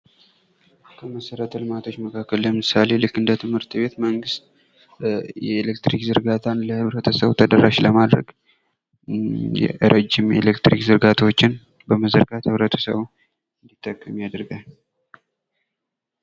ከመሰረተ ልማቶች መካከል ለምሳሌ ልክ እንደ ትምህርት ቤት መንግስት የኤሌክትሪክ ዝርጋታ ለህብረተሰቡ ተደራሽ ለማድረግ ረጅም ኤሌክትሪክ ዘርጋታዎችን በመዘርጋት ህብረተሰቡ እንዲጠቀም ያደርጋል።